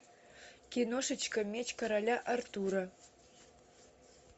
киношечка меч короля артура